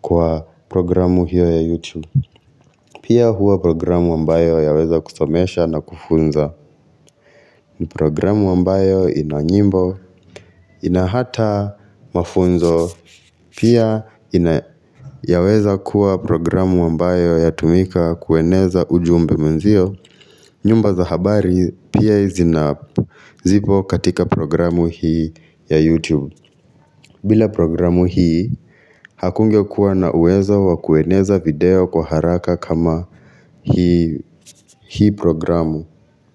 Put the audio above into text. kwa programu hiyo ya YouTube Pia huwa programu ambayo yaweza kusomesha na kufunza Programu ambayo ina nyimbo, ina hata mafunzo Pia ina yaweza kuwa programu ambayo yatumika kueneza ujumbe mwenzio nyumba za habari pia izinazipo katika programu hii ya YouTube bila programu hii, hakungekuwa na uwezo wa kueneza video kwa haraka kama hii programu.